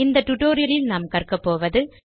இந்த டியூட்டோரியல் ல் நாம் கற்கப்போவது